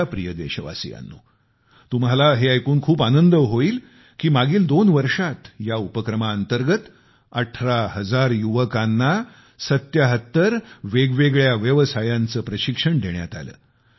माझ्या प्रिय देशवासियांनो तुम्हाला हे ऐकून खूप आनंद होईल की मागील दोन वर्षांत या उपक्रमांतर्गत अठरा हजार युवकांना वेगवेगळ्या 77 व्यवसायांचे प्रशिक्षण देण्यात आले